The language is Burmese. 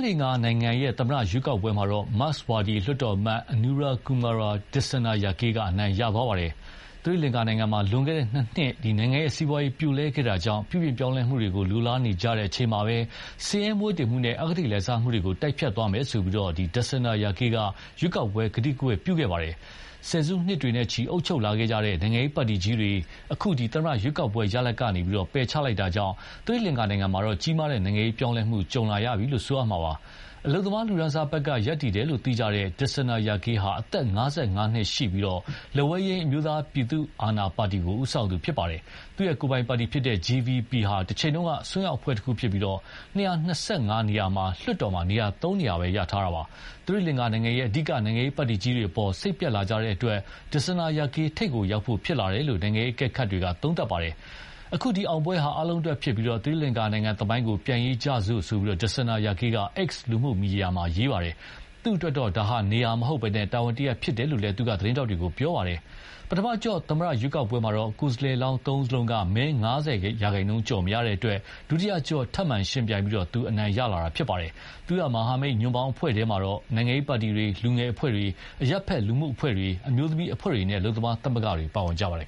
လင်္ကာနိုင်ငံ သမ္မတရွေးကောက်ပွဲမှာတော့ မာ့က်စ်ဝါဒီ လွှတ်တော်အမတ် Anura Kumar Dissanayake က အနိုင်ရသွားပါတယ်။ သီရိလင်္ကာနိုင်ငံမှာ လွန်ခဲ့တဲ့ နှစ်နှစ် နိုင်ငံ့စီးပွားရေးပြိုလဲခဲ့တာကြောင့် ပြုပြင်ပြောင်းလဲမှုတွေ လိုလားနေကြချိန်မှာပဲ ဆင်းရဲမွဲတေမှုနဲ့ အဂတိလိုက်စားမှုတွေကို တိုက်ဖျက်သွားမယ်ဆိုပြီး Dissanayake က ရွေးကောက်ပွဲကတိကဝတ်ပြုခဲ့ပါတယ်။ ဆယ်စုနှစ်တွေနဲ့ချီ အုပ်ချုပ်လာတဲ့ နိုင်ငံရေးပါတီကြီးတွေကို အခု သမ္မတရွေးကောက်ပွဲရလဒ်က ပယ်ချလိုက်တာကြောင့် သီရိလင်္ကာနိုင်ငံမှာ ကြီးမားတဲ့နိုင်ငံရေးပြောင်းလဲမှု ကြုံလာရပြီလို့ ပြောရမှာပါ။ အလုပ်သမားလူတန်းစားဘက်က ရပ်တည်တယ်လို့ သိကြတဲ့ Dissanayake ဟာ အသက် ၅၅ နှစ်ရှိပြီး လက်ဝဲယိမ်း အမျိုးသားပြည်သူအာဏာပါတီကိုဦးဆောင်သူဖြစ်ပါယ်။ သူ့ကိုယ်ပိုင်ပါတီ JVP ဟာ တချိန်က အစွန်းရောက်အဖွဲ့တခုဖြစ်ပြီး ၂၂၅ နေရာရှိတဲ့လွှတ်တော်မှာ သုံးနေရာပဲ ရထားတာပါ။ သီရိလင်္ကာနိုင်ငံရဲ့ အဓိကနိုင်ငံရေးပါတီကြီးတွေအပေါ် စိတ်ပျက်လာကြတာတဲ့အတွက် Dissanayake ထိပ်ကိုရောက်ဖို့ဖြစ်လာတယ်လို့ နိုင်ငံရေးအကဲခတ်တွေက သုံးသပ်ပါတယ်။အခုအောင်ပွဲဟာ အားလုံးအတွက်ဖြစ်ပြီး သီရိလင်္ကာနိုင်ငံသမိုင်းကို ပြန်ရေးကြစို့ ဆိုပြီး Dissanayake က X လူမှုမီဒီယာမှာရေးပါတယ်။ သူ့အတွက်တော့ နေရာမဟုတ်ဘဲ တာဝန်တရပ်ဖြစ်တယ်လို့လည်း သူက သတင်းထောက်တွေကို ပြောခဲ့ပါတယ်။ ပထမအကျော့ သမ္မတရွေးကောက်ပွဲမှာတော့ကိုယ်စားလှယ်လောင်းသုံးဦးစလုံးက မဲ ၅၀ ရာခိုင်နှုန်းကျော်မရတဲ့အတွက် ဒုတိယအကျော့ ထပ်မံယှဉ်ပြိုင်ပြီး သူအနိုင်ရလာတာပါ။ သူ့ မဟာမိတ်ညွန့်ပေါင်းအဖွဲ့ထဲမှာတော့ နိုင်ငံရေးပါတီတွေ၊ လူငယ်အဖွဲ့တွေ၊ အရပ်ဖက်လူမှုအဖွဲ့တွေ၊ အမျိုးသမီးအဖွဲ့တွေနဲ့ အလုပ်သမားသမဂ္ဂတွေ ပါဝင်ကြပါတယ်